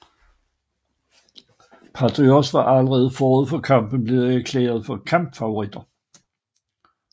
Patriots var allerede forud for kampen blevet erklæret for kæmpefavoritter